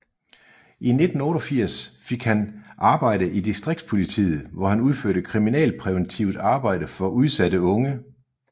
I 1988 fik han arbejde i Distriktspolitiet hvor han udførte kriminalpræventivt arbejde for udsatte unge